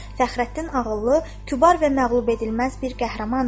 Fəxrəddin ağıllı, kübar və məğlub edilməz bir qəhrəmandır.